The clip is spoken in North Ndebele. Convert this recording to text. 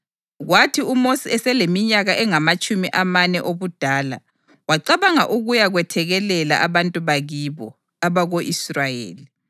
Kwathi uMosi eseleminyaka engamatshumi amane obudala, wacabanga ukuya kwethekelela abantu bakibo, abako-Israyeli.